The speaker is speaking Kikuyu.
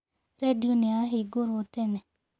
Redio nĩ yahingũrwo tene.